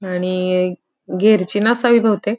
आणि गियर ची नसावी बहुतेक.